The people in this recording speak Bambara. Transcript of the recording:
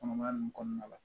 Kɔnɔmaya nin kɔnɔna la